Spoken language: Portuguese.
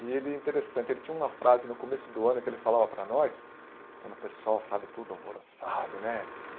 E ele, interessante, ele tinha uma frase, no começo do ano, que ele falava para nós, quando o pessoal sabe tudo, alvoroçado, né?